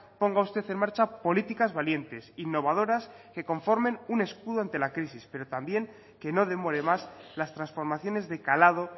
ponga usted en marcha políticas valientes innovadoras que conformen un escudo ante la crisis pero también que no demore más las transformaciones de calado